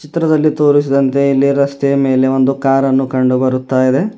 ಚಿತ್ರದಲ್ಲಿ ತೋರಿಸಿದಂತೆ ಇಲ್ಲಿ ರಸ್ತೆ ಮೇಲೆ ಒಂದು ಕಾರನ್ನು ಕಂಡು ಬರುತ್ತಾ ಇದೆ.